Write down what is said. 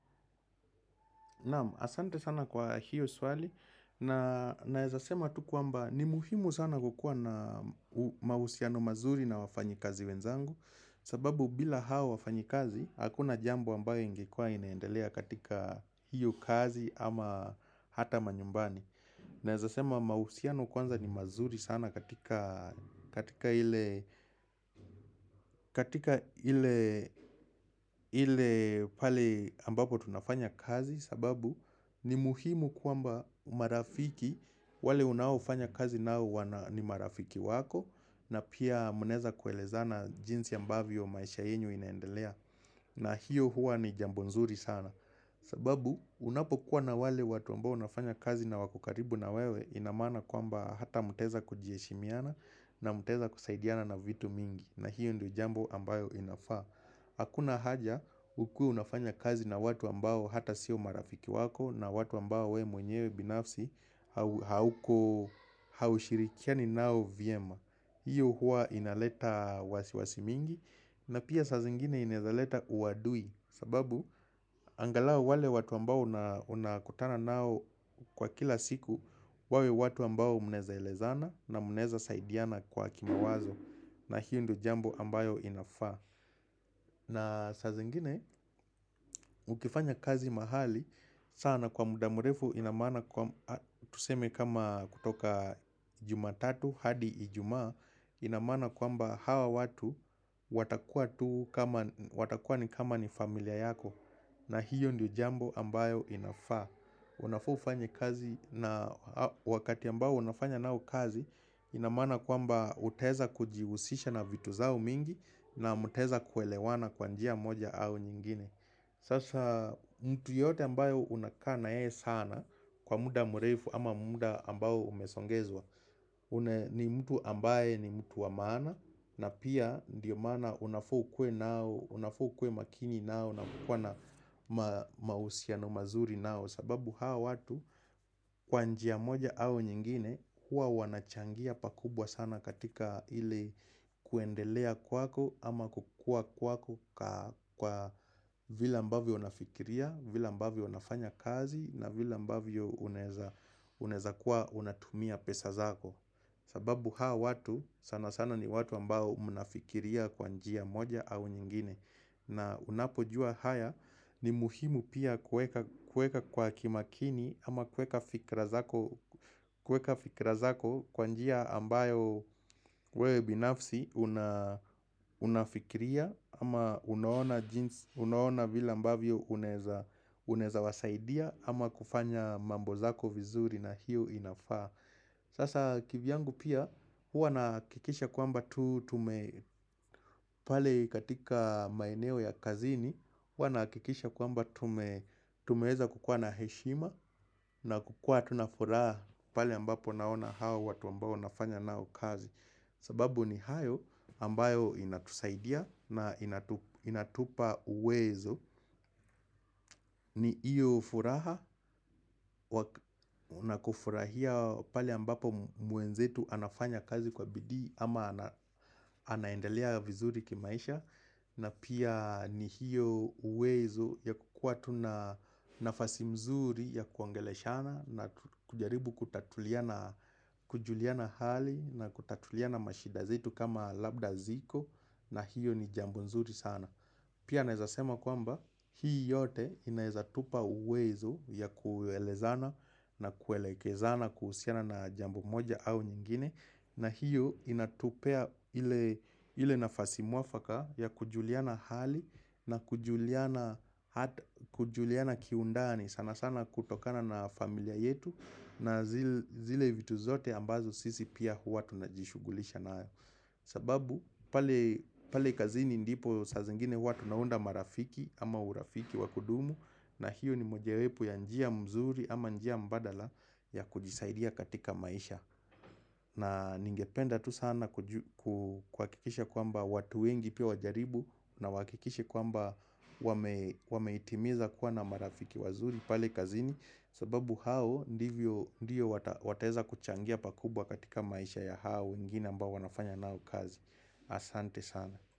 Asante sana kwa hiyo swali na naeza sema tukuamba ni muhimu sana kukua na mahusiano mazuri na wafanyi kazi wenzangu sababu bila hao wafanyi kazi hakuna jambo ambayo ingekuwa inaendelea katika hiyo kazi ama hata manyumbani na zasema mausiano kwanza ni mazuri sana katika ile pale ambapo tunafanya kazi sababu ni muhimu kuamba marafiki wale unafanya kazi na wana ni marafiki wako na pia munaeza kuelezana jinsi ambavyo maisha yenyu inaendelea. Na hiyo huwa ni jambo nzuri sana sababu unapo kuwa na wale watu ambao nafanya kazi na wako karibu na wewe ina maana kuamba hata muteza kujieshimiana na muteza kusaidiana na vitu mingi na hiyo ndio jambo ambayo inafaa Hakuna haja ukue unafanya kazi na watu ambao hata sio marafiki wako na watu ambao we mwenyewe binafsi hauko haushirikiani nao viema hiyo huwa inaleta wasiwasi mingi na pia sa zingine inaeza leta uwadui sababu angalao wale watu ambao unakutana nao kwa kila siku wawe watu ambao munaeza elezana na munaeza saidiana kwa kimawazo na hiyo ndo jambo ambayo inafaa na sa zingine ukifanya kazi mahali sana kwa muda mrefu inamaana kwa tuseme kama kutoka jumatatu hadi ijumaa inamaana kwamba hawa watu watakuwa tu watakuwa ni kama ni familia yako na hiyo ndio jambo ambayo inafaa unafaa ufanye kazi wakati ambayo unafanya nao kazi inamaana kwamba utaeza kujiusisha na vitu zao mingi na muteza kuelewana kwanjia moja au nyingine sasa mtu yote ambayo unakana yeye sana kwa muda mrefu ama muda ambayo umesongezwa ni mtu ambaye ni mtu wamaana na pia ndiyo maana unafaa ukuwe nao, unafaa ukuwe makini nao na kukua na mausiano mazuri nao sababu hawa watu kwa njia moja au nyingine hua wanachangia pakubwa sana katika ile kuendelea kwako ama kukua kwako kwa vile ambavyo unafikiria, vile ambavyo unafanya kazi na vile ambavyo unaeza kuwa unatumia pesa zako sababu hawa watu sana sana ni watu ambao mnafikiria kwa njia moja au nyingine na unapo jua haya ni muhimu pia kueka kwa kimakini ama kueka fikirazako kwanjia ambayo wewe binafsi unafikiria ama unaona jinsi ama unaona vile ambavyo unaeza wasaidia ama kufanya mambo zako vizuri na hiyo inafaa Sasa kivyangu pia huwa nahakikisha kwamba tu tume pale katika maeneo ya kazini huwa nakikisha kwamba tumeweza kukua na heshima na kukua tunafuraha pale ambapo naona hao watu ambao nafanya nao kazi sababu ni hayo ambayo inatusaidia na inatupa uwezo ni iyo furaha, unakufurahia pali ambapo mwenzetu anafanya kazi kwa bidii ama ana anaendelea vizuri kimaisha na pia ni hiyo uwezo ya kukua tuna nafasi mzuri ya kuongeleshana na kujaribu kutatuliana kujuliana hali na kutatuliana mashidazetu kama labda ziko na hiyo ni jambo mzuri sana Pia naezasema kwamba hii yote inaezatupa uwezo ya kuelezana na kuelekezana kuhusiana na jambo moja au nyingine na hiyo inatupea ile nafasi muafaka ya kujuliana hali na kujuliana kujuliana kiundani sana sana kutokana na familia yetu na zile vitu zote ambazo sisi pia hua tunajishugulisha nayo. Sababu pale pale kazini ndipo sa zingine huwa tunaunda marafiki ama urafiki wakudumu na hiyo ni mojewepu ya njia mzuri ama njia mbadala ya kujisaidia katika maisha na ningependa tu sana kuakikisha kuamba watu wengi pia wajaribu na wahakikishi kuamba wame wameitimiza kuwa na marafiki wazuri pale kazini sababu hao ndivyo ndiyo wataeza kuchangia pakubwa katika maisha ya hao wengine ambao wanafanya nao kazi Asante sana.